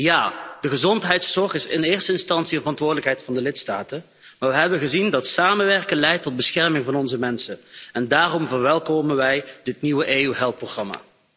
Ja, de gezondheidszorg is in eerste instantie een verantwoordelijkheid van de lidstaten, maar we hebben gezien dat samenwerken leidt tot bescherming van onze mensen en daarom verwelkomen wij dit nieuwe EU4Health-programma.